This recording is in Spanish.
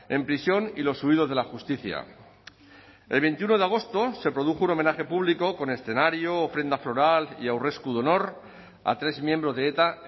en prisión y los huidos de la justicia el veintiuno de agosto se produjo un homenaje público con escenario ofrenda floral y aurresku de honor a tres miembros de eta